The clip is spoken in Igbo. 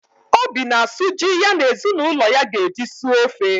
Obi na-asụ ji ya na ezinụlọ ya ga-eji suo ofe